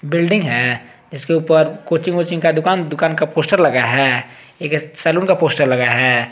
Building है इसके ऊपर कोचिंग वोचिंग का दुकान दुकान का पोस्टर लगाया है एक सैलून का पोस्टर लगाया है।